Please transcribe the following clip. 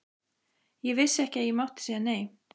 Ég vissi ekki að ég mátti segja nei.